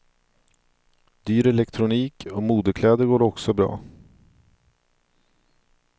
Dyr elektronik och modekläder går också bra.